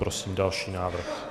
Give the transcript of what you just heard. Prosím další návrh.